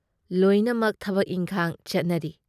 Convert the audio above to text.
ꯂꯣꯏꯅꯃꯛ ꯊꯕꯛ ꯏꯟꯈꯥꯡ ꯆꯠꯅꯔꯤ ꯫"